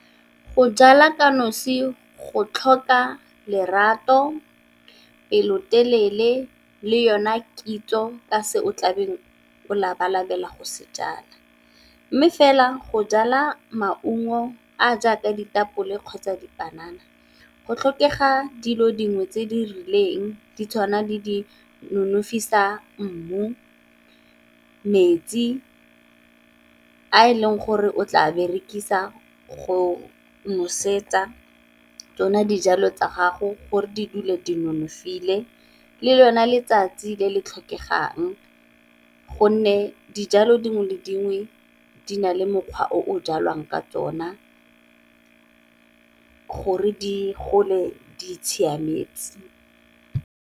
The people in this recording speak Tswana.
Go jala ka nosi go tlhoka lerato, pelotelele le yona kitso ka se o tlabeng o labalabela go se jala, mme fela go jala maungo a a jaaka ditapole kgotsa dipanana go tlhokega dilo dingwe tse di rileng ditshwana le di nonofisa mmu, metsi a e leng gore o tla berekisa go nosetsa tsone dijalo tsa gago gore di dule di nonofile, le lone letsatsi le le tlhokegang gonne dijalo dingwe le dingwe di na le mokgwa o jalwang ka tsona gore di gole di itshiametse.